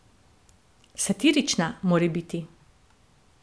Satirična, morebiti?